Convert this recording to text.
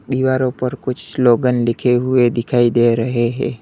दीवारों पर कुछ स्लोगन लिखे हुए दिखाई दे रहे हैं।